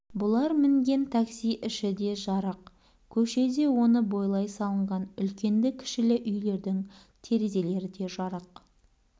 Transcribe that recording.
бұлар мінген такси іші де жарық көше де оны бойлай салынған үлкенді-кішілі үйлердің терезелері де жарық